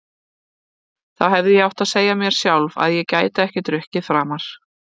Þá hefði ég átt að segja mér sjálf að ég gæti ekki drukkið framar.